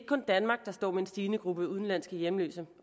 kun danmark der står med et stigende antal udenlandske hjemløse